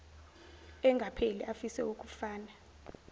engapheli afise ukufana